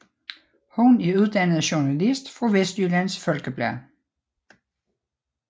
Hun er uddannet journalist fra Vestjyllands Folkeblad